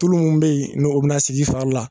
Tulu mun be ye n'o bi na sig'i fari la